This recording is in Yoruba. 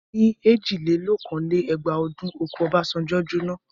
Ní èjìlélókòó-lé-ẹgbàá ọdún, oko Obasanjo jóná.